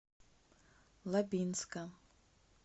лабинска